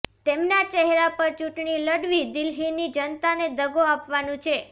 તેમના ચહેરા પર ચૂંટણી લડવી દિલ્હીની જનતાને દગો આપવાનું છે